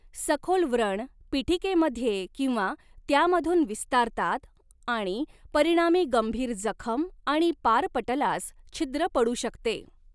सखोल व्रण, पीठिकेमध्ये किंवा त्यामधून विस्तारतात आणि परिणामी गंभीर जखम आणि पारपटलास छिद्र पडू शकते.